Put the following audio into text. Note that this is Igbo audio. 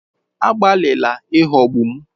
Agbalịla ịghọgbu m!